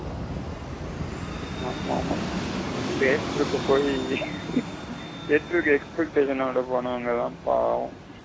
ஆமா ஆமா theatre க்கு போய் expectation ஓட போனவுங்காத பாவம்.